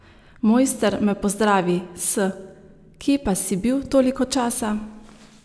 Mojster me pozdravi s: "Kje pa si bil toliko časa?